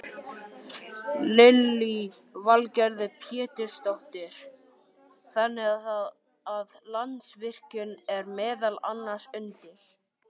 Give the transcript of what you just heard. Lillý Valgerður Pétursdóttir: Þannig að Landsvirkjun er meðal annars undir?